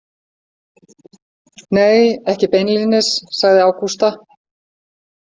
Nei, ekki beinlínis, sagði Ágústa.